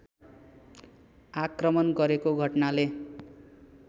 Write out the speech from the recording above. आक्रमण गरेको घटनाले